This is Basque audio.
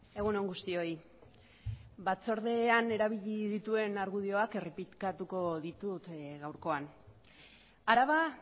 egun on guztioi batzordean erabili dituen argudioak errepikatuko ditut gaurkoan araba